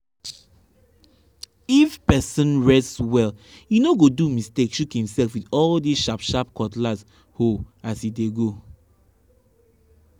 if person rest well e no go do mistake shook himself with all these dem sharp sharp cutlass hoe as e dey go.